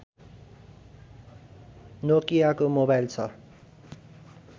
नोकियाको mobile छ